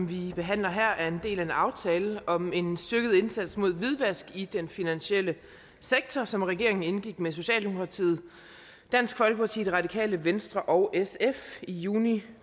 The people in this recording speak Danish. vi behandler her er en del af en aftale om en styrket indsats mod hvidvask i den finansielle sektor som regeringen indgik med socialdemokratiet dansk folkeparti radikale venstre og sf i juni